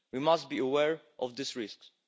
We must be aware of these risks.